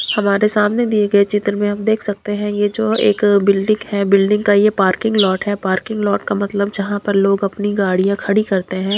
हमारे सामने दिए गए चित्र में हम देख सकते हैं ये जो एक बिल्डिंग है बिल्डिंग का ये पार्किंग लोट है पार्किंग लोट का मतलब जहां पर लोग अपनी गाड़ियां खड़ी करते हैं।